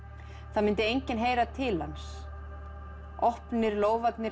það myndi enginn heyra til hans opnir